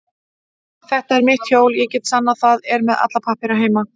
Þetta er mitt hjól, ég get sannað það, er með alla pappíra heima.